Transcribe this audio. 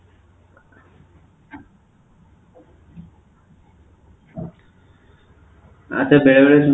ଆଛା ବେଳେବେଳେ